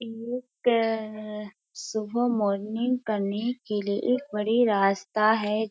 एक सुबह मॉर्निंग करने के लिए एक बड़ी रास्ता है।